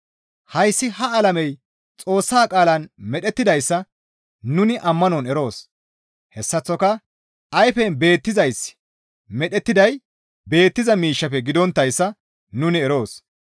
Hayssi ha alamey Xoossa qaalan medhettidayssa nuni ammanon eroos; hessaththoka ayfen beettizayssi medhettiday beettiza miishshafe gidonttayssa nuni eroos.